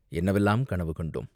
என்னவெல்லாம் கனவு கண்டோ ம்?